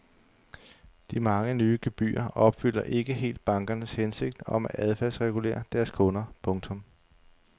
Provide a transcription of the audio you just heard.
De mange nye gebyrer opfylder ikke helt bankernes hensigt om at adfærdsregulere deres kunder. punktum